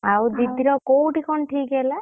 ଆଉ ଦିଦିର କୋଉଠି କଣ ଠିକ୍‌ ହେଲା?